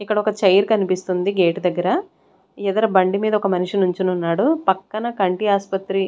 ఇక్కడొక చైర్ కనిపిస్తుంది గేటు దగ్గర ఇదర బండి మీద ఒక మనిషి నుంచునున్నాడు పక్కన కంటి ఆస్పత్రి--